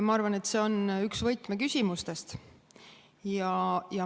Ma arvan, et see on üks võtmeküsimustest.